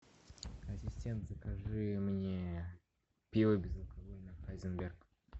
ассистент закажи мне пиво безалкогольное хайзенберг